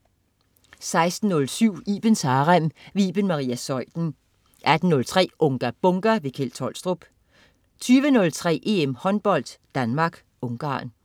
16.07 Ibens Harem. Iben Maria Zeuthen 18.03 Unga Bunga! Kjeld Tolstrup 20.03 EM håndbold: Danmark-Ungarn